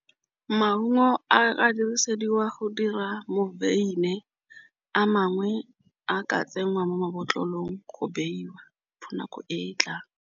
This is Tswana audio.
Maungo a dirisediwa go dira a mangwe a ka tsenngwa mo mabotlolong go beiwa fa nako e tla.